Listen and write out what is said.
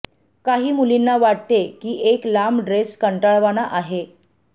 काही मुलींना वाटते की एक लांब ड्रेस कंटाळवाणा आहे